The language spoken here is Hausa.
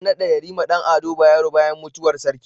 An nada yarima Dan ado bayero bayan mutuwar sarki